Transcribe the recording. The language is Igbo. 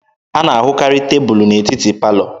A na-ahụkarị tebụlụ n'etiti palọ